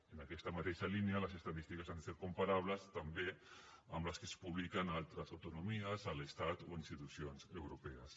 en aquesta mateixa línia les estadístiques han de ser comparables també amb les que es publiquen a altres autonomies a l’estat o institucions europees